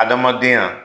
Adamadenya